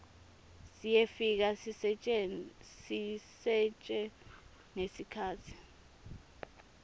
siyefika sisetjentwe ngesikhatsi